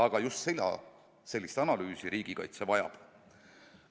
Aga just seda, sellist analüüsi riigikaitse vajab.